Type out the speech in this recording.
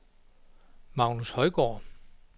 Magnus Højgaard